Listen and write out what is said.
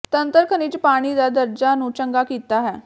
ਤੰਤਰ ਖਣਿਜ ਪਾਣੀ ਦਾ ਦਰਜਾ ਨੂੰ ਚੰਗਾ ਕੀਤਾ ਹੈ